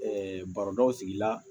barodaw sigi la